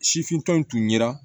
Sifinw tun yera